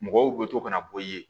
Mɔgɔw bɛ to ka na bɔ i ye